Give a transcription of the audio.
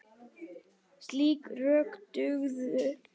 Slík rök dugðu.